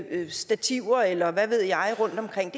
eller stativer eller hvad ved jeg rundtomkring